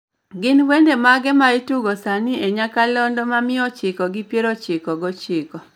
gin wende mage maitugo sani e nyakalondo ma mia ochiko gi pier ochiko gi ochiko